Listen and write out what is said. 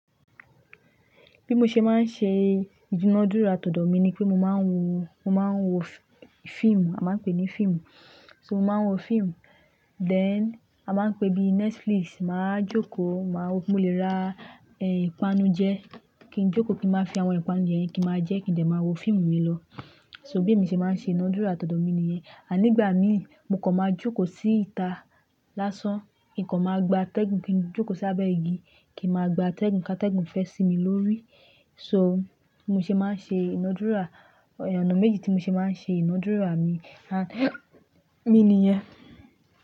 Bí mo ṣe máa ń ṣe ìdunádúrà, tòdò mi ni pé mo máa ń wo, mo máa ń wo fíìmù, a máa ń pè é ní fíìmù. So mo máa ń wo fíìmù, then a máa ń pe bíi Netflix, màá jókòó, màá wo, mo lè ra, eh, ìpanu jẹ ki n jókòó kí n máa fi àwọn ìpanu yẹn kí n máa jẹ́, kí n lè máa wo fíìmù mi lọ. So bí èmi ṣe máa ń ṣe ìnádúrà, tòdò mi nìyẹn. Àní ìgbà mí, mo kàn máa jókòó sí ìta lásán. Nǹkan máa gba tẹ́gùn, kí n jókòó sábẹ́ igi, kí n máa gba tẹ́gùn kí a tẹ́gùn fẹ́ sì mi lórí. So mo ṣe máa ń ṣe ìnádúrà. Ọ̀nà méjì tí mo ṣe máa ń ṣe ìnádúrà mi, à, oun nìyẹn.